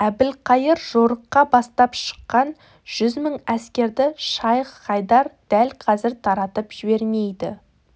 әбілқайыр жорыққа бастап шыққан жүз мың әскерді шайх-хайдар дәл қазір таратып жібермейді